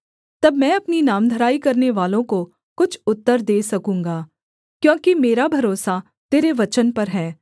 तब मैं अपनी नामधराई करनेवालों को कुछ उत्तर दे सकूँगा क्योंकि मेरा भरोसा तेरे वचन पर है